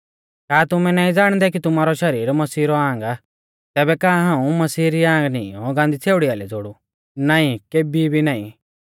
का तुमै नाईं ज़ाणदै कि तुमारौ शरीर मसीह रौ आंग आ तैबै का हाऊं मसीहा री आंग नीईंयौ गांदी छ़ेउड़ी आइलै ज़ोड़ु नाईं केबी भी नाईं